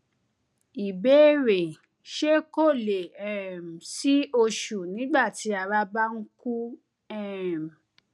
ìbéèrè ṣé kò lè um sí oṣù nígbà tí ara bá ń kú um